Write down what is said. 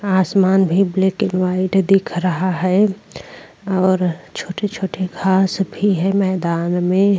आसमान भी black and white दिख रहा है और छोटे-छोटे घास भी है मैंदान में।